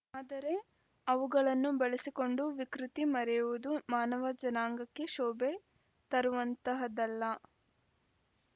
ಆದರೆ ಅವುಗಳನ್ನು ಬಳಸಿಕೊಂಡು ವಿಕೃತಿ ಮೆರೆಯುವುದು ಮಾನವ ಜನಾಂಗಕ್ಕೆ ಶೋಭೆ ತರುವಂತಹದ್ದಲ್ಲ